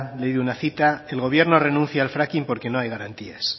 leído una cita el gobierno renuncia al fracking porque no hay garantías